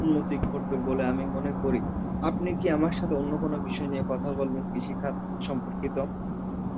উন্নতি ঘটবে বলে আমি মনে করি. আপনি কি আমার সাথে অন্য কোনো বিষয় নিয়ে কথা বলবেন, কৃষি খাত সম্পর্কিত?